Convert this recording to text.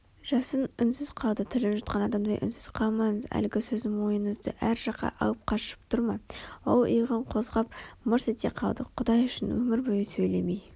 жасын үнсіз қалды тілін жұтқан адамдай үнсіз қалмаңыз Әлгі сөзім ойыңызды әр жаққа алып қашып тұр ма ол иығын қозғап мырс ете қалды құдай үшін өмір бойы сөйлемей